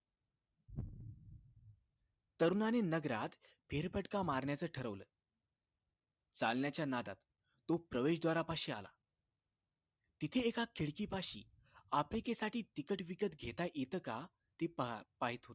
तरुणांनी नगरात फेरफटका मारायचं ठरवलं चालण्याच्या नादात तो प्रवेश द्वारापाशी आला तिथे एका खिडकीपाशी आफ्रिकेसाठीही तिकीट विकत घेता येत का ते पहा पाहायचं होत